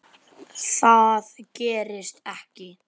Það gerist ekki,